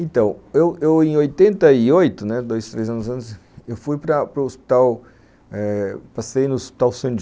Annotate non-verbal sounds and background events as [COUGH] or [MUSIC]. Então, eu eu em oitenta e oito, né, dois, três anos antes, eu fui para o hospital, passei no hospital [UNINTELLIGIBLE]